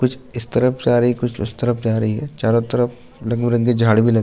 कुछ इस तरफ जा रही है कुछ उस तरफ जा रही है चारो तरफ रैंदी झाड़ भी ले --